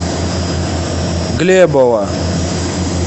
глебова